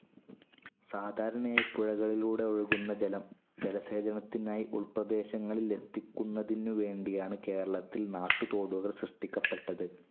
സാധാരണയായി പുഴകളിലൂടൊഴുകുന്ന ജലം ജലസേചനത്തിനായി ഉൾപ്രദേശങ്ങളിലെത്തിക്കുന്നതിനുവേണ്ടിയാണ് കേര‌ളത്തിൽ നാട്ടുതോടുകൾ സൃഷ്ടിക്കപ്പെട്ടത്.